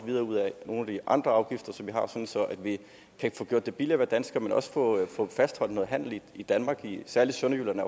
nogle af de andre afgifter som at vi kan få gjort det billigere at være dansker men også få fastholdt noget handel i danmark særlig sønderjylland